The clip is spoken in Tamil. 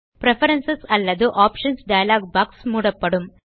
பிரெஃபரன்ஸ் அல்லது ஆப்ஷன்ஸ் டயலாக் பாக்ஸ் மூடப்படும்